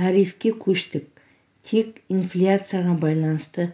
тарифке көшті тек инфляцияға байланысты